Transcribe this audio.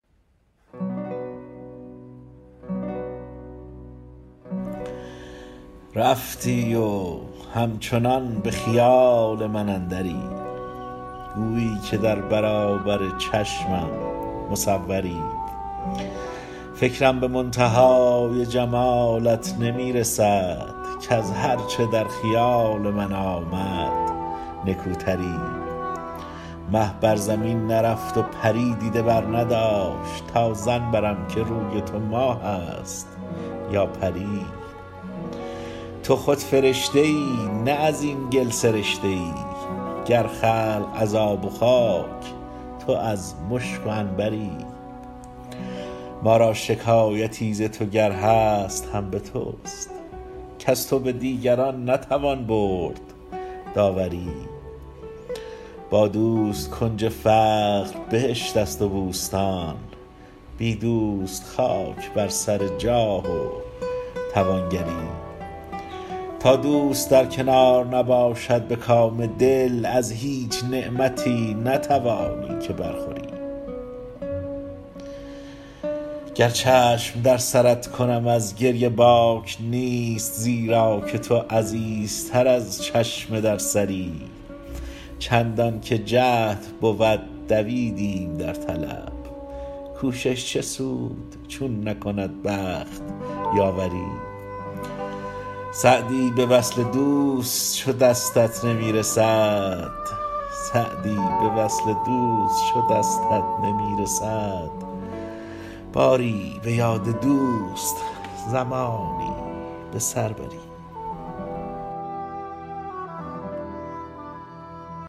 رفتی و همچنان به خیال من اندری گویی که در برابر چشمم مصوری فکرم به منتهای جمالت نمی رسد کز هر چه در خیال من آمد نکوتری مه بر زمین نرفت و پری دیده برنداشت تا ظن برم که روی تو ماه است یا پری تو خود فرشته ای نه از این گل سرشته ای گر خلق از آب و خاک تو از مشک و عنبری ما را شکایتی ز تو گر هست هم به توست کز تو به دیگران نتوان برد داوری با دوست کنج فقر بهشت است و بوستان بی دوست خاک بر سر جاه و توانگری تا دوست در کنار نباشد به کام دل از هیچ نعمتی نتوانی که برخوری گر چشم در سرت کنم از گریه باک نیست زیرا که تو عزیزتر از چشم در سری چندان که جهد بود دویدیم در طلب کوشش چه سود چون نکند بخت یاوری سعدی به وصل دوست چو دستت نمی رسد باری به یاد دوست زمانی به سر بری